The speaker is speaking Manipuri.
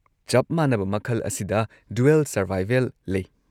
ꯆꯞ ꯃꯥꯟꯅꯕ ꯃꯈꯜ ꯑꯁꯤꯗ 'ꯗꯨꯋꯦꯜ ꯁꯔꯚꯥꯏꯕꯦꯜ "ꯂꯩ꯫